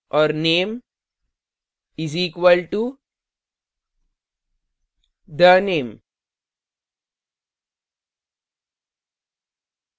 और name is equal to the _ name